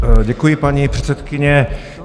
Děkuji, paní předsedkyně.